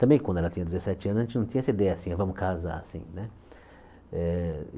Também quando ela tinha dezesete anos, a gente não tinha essa ideia, assim, vamos casar, assim. Eh